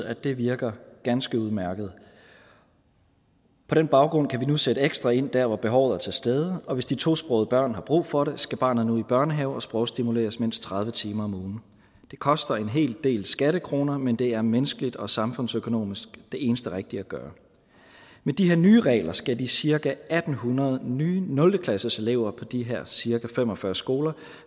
at det virker ganske udmærket på den baggrund kan vi nu sætte ekstra ind der hvor behovet er til stede og hvis de tosprogede børn har brug for det skal barnet nu i børnehave og sprogstimuleres mindst tredive timer om ugen det koster en hel del skattekroner men det er menneskeligt og samfundsøkonomisk det eneste rigtige at gøre med de her nye regler skal de cirka en hundrede nye nulte klasseelever på de her cirka fem og fyrre skoler